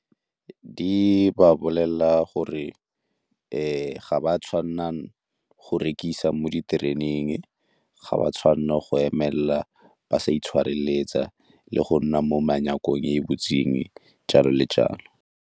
Di ba bolelela gore ga ba tshwanela go rekisa mo ditereneng, ga ba tshwanela go emelela ba sa itshwareletsa le go nna mo e e butsweng, jalo le jalo.